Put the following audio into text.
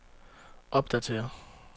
opdatér